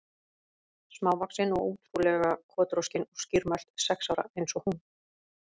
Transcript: Smávaxin og ótrú- lega kotroskin og skýrmælt, sex ára eins og hún.